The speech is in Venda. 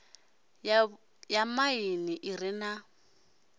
ya maḓini i re na